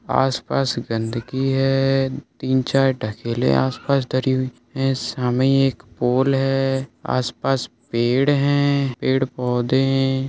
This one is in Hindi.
आस-पास गंदगी है तीन चार ढकेले आस-पास डरी हुई है शामे एक पोल है आस-पास पेड़ है पेड़-पौधे है।